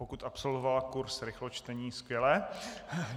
Pokud absolvovala kurz rychločtení, skvělé.